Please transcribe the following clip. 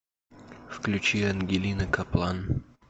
включи ангелина каплан